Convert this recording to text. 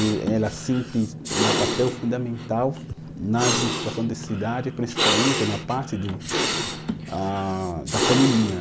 E ela sempre tem um papel fundamental na administração da cidade, principalmente na parte do, ah da feminina.